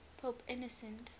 pope innocent